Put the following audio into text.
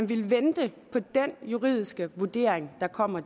vil vente på den juridiske vurdering der kommer